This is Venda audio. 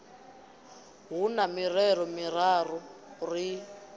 hu na mirero miraru ri